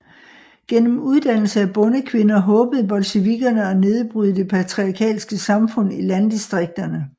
Gennem uddannelse af bondekvinder håbede bolsjevikkerne at nedbryde det patriarkalske samfund i landdistrikterne